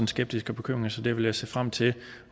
skeptiske bekymring så der vil jeg se frem til